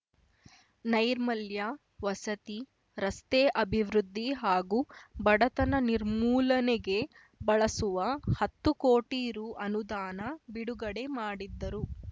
ನೈರ್ಮಲ್ಯ ವಸತಿ ರಸ್ತೆ ಅಭಿವೃದ್ಧಿ ಹಾಗೂ ಬಡತನ ನಿರ್ಮೂಲನೆಗೆ ಬಳಸುವ ಹತ್ತು ಕೋಟಿ ರು ಅನುದಾನ ಬಿಡುಗಡೆ ಮಾಡಿದ್ದರು